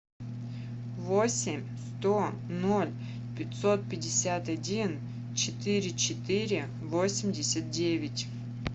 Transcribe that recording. восемь сто ноль пятьсот пятьдесят один четыре четыре восемьдесят девять